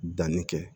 Danni kɛ